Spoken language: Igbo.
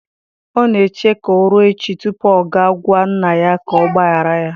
Ọ na-eche ka ọ ruo echi tupu ọ gaa gwa nna ya ka ọ gbaghara ya.